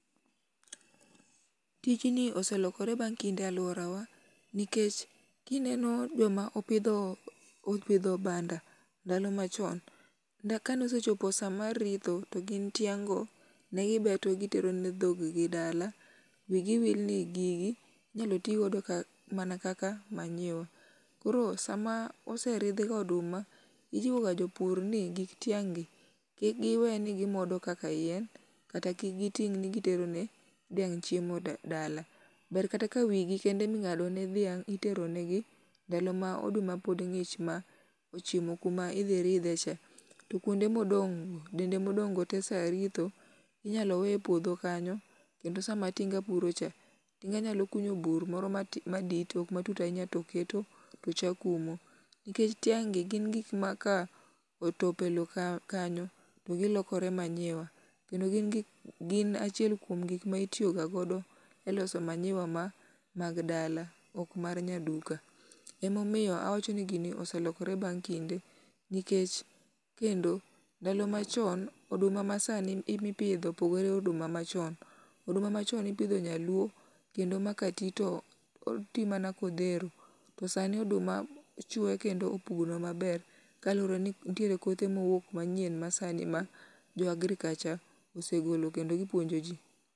Tijni oselokore bang' kinde e alworawa, nikech kineno joma opidho, opidho banda, ndalo machon, ka ne osechopo sa mar ritho, to gin tiang' go, negibeto gitero ne dhoggi dala. Wi gi wil ni gigi inyalo ti go ka, mana kaka manyiwa. Koro sama oseridh ga oduma, ijiwo ga jopur ni gik tiang' gi, kik giwe ni gimodo kaka yien, kata ki giting' ni gitero ne dhiang' chiemo dala. Ber kata ka wi gi kende em ing'ado ne dhiang' itero negi, ndalo ma oduma pod ng'ich ma ochimo kuma idhi ridhe cha. To kwonde modong'go, dende ma odong' go te sa ritho, inyalo we e puodho kanyo. Kendo sama tinga puro cha, tinga nya kuno bur moro ma madit, ok matut ahinya, to keto, to chak umo. Nikech tiang' gi gin gik ma ka otop e lowo ka kanyo to gilokore manyiwa. Kendo gin gik, gin achiel kuom gik ma itiyo ga godo e loso manyiwa ma mag dala ok mar nyaduka. Ema omiyo awacho ni gini oselokore bang' kinde. Nikech, kendo, ndalo machon, oduma masani mipidho, opogore gi oduma machon. Oduma machon ne ipidho nyaluo, kendo ma ka ti to oti mana ka odhero. To sani oduma chwe kendo opugno maber. Kaluwore ni nitiere kothe ma owuok manyien masani ma jo agriculture osegolo kendo gipuonjo ji.